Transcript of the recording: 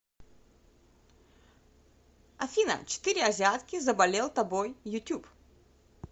афина четыре азиатки заболел тобой ютюб